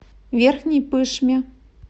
верхней пышме